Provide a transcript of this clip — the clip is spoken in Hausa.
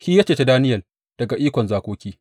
Shi ya ceci Daniyel daga ikon zakoki.